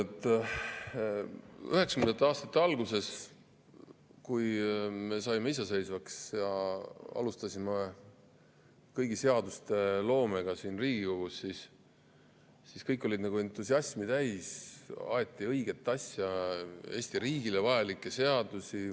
1990. aastate alguses, kui me saime iseseisvaks ja alustasime kõigi seaduste loomet siin Riigikogus, siis olid kõik entusiasmi täis, aeti õiget asja, tehti Eesti riigile vajalikke seadusi.